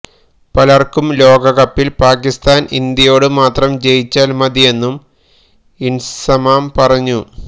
പലര്ക്കും ലോകകപ്പില് പാകിസ്ഥാന് ഇന്ത്യയോട് മാത്രം ജയിച്ചാല് മതിയെന്നും ഇന്സമാം പറഞ്ഞു